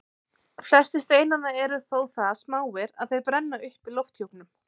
Flestir steinanna eru þó það smáir að þeir brenna upp í lofthjúpnum.